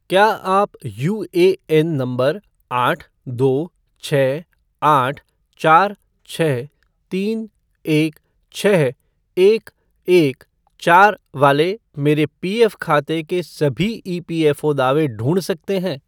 क्या आप UAN number आठ दो छः आठ चार छः तीन एक छः एक एक चार वाले मेरे पीएफ़ खाते के सभी ईपीएफ़ओ दावे ढूँढ सकते हैं?